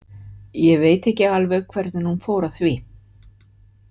Ég veit ekki alveg hvernig hún fór að því.